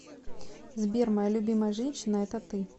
сбер моя любимая женщина это ты